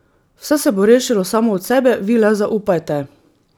Vse se bo rešilo samo od sebe, vi le zaupajte.